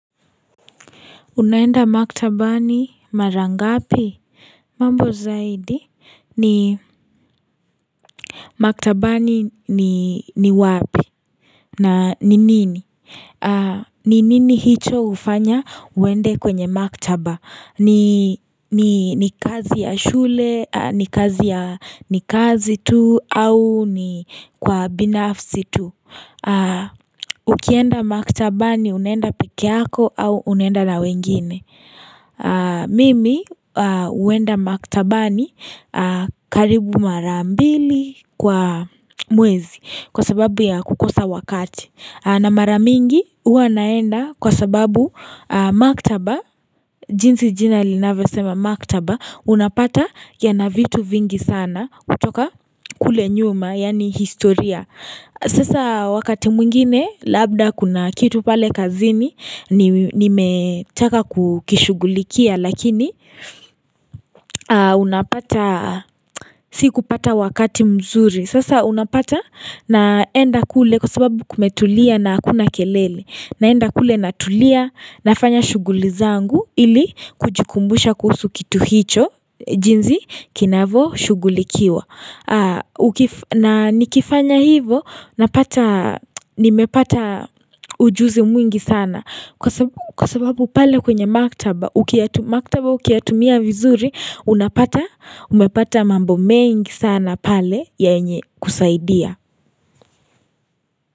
Unaenda maktabani, mara ngapi, mambo zaidi, ni maktabani ni ni wapi, na ni nini, ni nini hicho hufanya uende kwenye maktaba, ni kazi ya shule, ni kazi ya, ni kazi tu, au ni kwa binafsi tu Ukienda maktabani unaenda pekee yako au unaenda na wengine Mimi huenda maktabani karibu mara mbili kwa mwezi Kwa sababu ya kukosa wakati na mara mingi huwa naenda kwa sababu maktaba jinsi jina linavyosema maktaba Unapata yana vitu vingi sana kutoka kule nyuma yaani historia Sasa wakati mwingine labda kuna kitu pale kazini nimetaka kukishugulikia lakini unapata sikupata wakati mzuri. Sasa unapata naenda kule kwa sababu kumetulia na hakuna kelele naenda kule natulia nafanya shughuli zangu ili kujikumbusha kuhusu kitu hicho jinsi kinavyo shughulikiwa. Na nikifanya hivo napata nimepata ujuzi mwingi sana Kwa sababu pale kwenye maktaba ukiyatumia vizuri Unapata umepata mambo mengi sana pale yenye kusaidia.